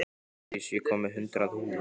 Hjördís, ég kom með hundrað húfur!